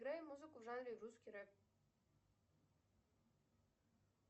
играй музыку в жанре русский рэп